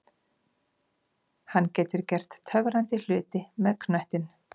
Hann getur gert töfrandi hluti með knöttinn.